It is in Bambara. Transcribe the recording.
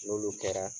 N'olu kɛra